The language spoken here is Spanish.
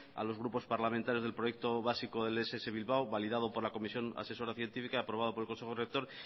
a los grupos parlamentarios del proyecto básico del ess bilbao validado por la comisión asesora científica y aprobado por el consejo rector